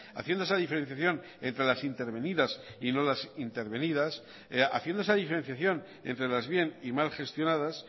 haciendo esa diferenciación entre las intervenidas y las no intervenidas haciendo esa diferenciación entre las bien y mal gestionadas